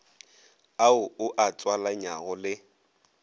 ao o a tswalanyago le